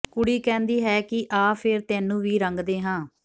ਕੁੜੀ ਕਹਿੰਦੀ ਹੈ ਕਿ ਆ ਫੇਰ ਤੈਨੂੰ ਵੀ ਰੰਗਦੇ ਹਾਂ